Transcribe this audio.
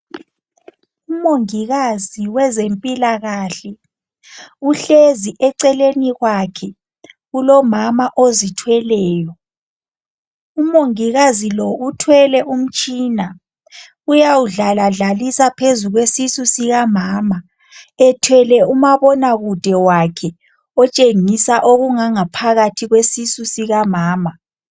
Umongikazi wezempilakahle uhlezi eceleni kwakhe kulomama ozithweleyo. Umongikazi lo uthwele umtshina uyawudlaladlalisa phezu kwesisu sikamama ethwele umabona kude wakhe otshengisa okungangaphakathi kwesisu sikamama.